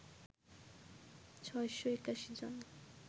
৬৮১ জন